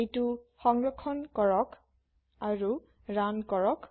এটি সংৰক্ষণ কৰো আৰু ৰান কৰো